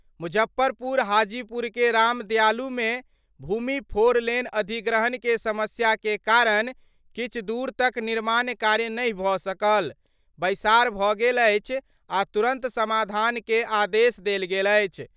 मुजफ्फरपुर-हाजीपुर के राम दयालू में भूमि फोर लेन अधिग्रहण के समस्या के कारण किछु दूर तक निर्माण कार्य नहि भ' सकल, बैसार भ गेल अछि आ तुरंत समाधान के आदेश देल गेल अछि।